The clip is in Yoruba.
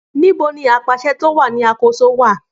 Níbo ni apàṣẹ tí o wà ní àkóso wà